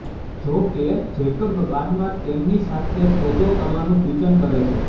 જો કે જેકબ બાદમાં તેમની સાથે સોદો કરવાનું સૂચન કરે છે